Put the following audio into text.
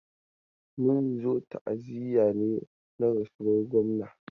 Mun zo ta'aziya ne na rasuwan gwamna.